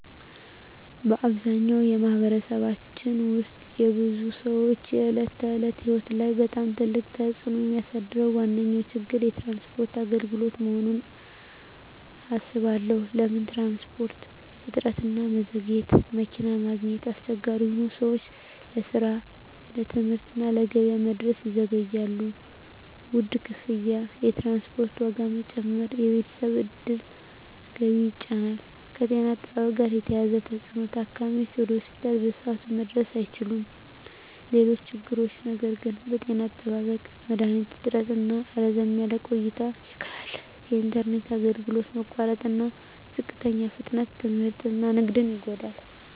በአብዛኛው በማኅበረሰባችን ውስጥ የብዙ ሰዎች የዕለት ተዕለት ሕይወት ላይ በጣም ትልቅ ተፅዕኖ የሚያሳድረው ዋነኛ ችግር የትራንስፖርት አገልግሎት መሆኑን እባላለሁ። ለምን ትራንስፖርት? እጥረትና መዘግየት መኪና ማግኘት አስቸጋሪ ሆኖ ሰዎች ለስራ፣ ለትምህርት እና ለገበያ መድረስ ይዘገያሉ። ውድ ክፍያ የትራንስፖርት ዋጋ መጨመር የቤተሰብ ዕድል ገቢን ይጫን። ከጤና አጠባበቅ ጋር የተያያዘ ተፅዕኖ ታካሚዎች ወደ ሆስፒታል በሰዓቱ መድረስ አይችሉም። ሌሎች ችግሮች ነገር ግን… ጤና አጠባበቅ መድሀኒት እጥረትና ረዘም ያለ ቆይታ ችግር አለ። የኢንተርኔት አገልግሎት መቋረጥና ዝቅተኛ ፍጥነት ትምህርትና ንግድን ይጎዳል።